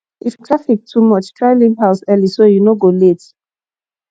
if traffic too much try leave house early so you no go late